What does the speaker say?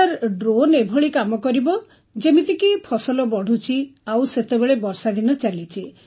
sir drone ଏଭଳି କାମ କରିବ ଯେମିତିକି ଫସଲ ବଢ଼ୁଛି ଆଉ ସେତେବେଳେ ବର୍ଷାଦିନ ଚାଲିଛି